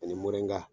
Ani morinka